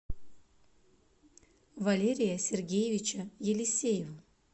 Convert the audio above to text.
валерия сергеевича елисеева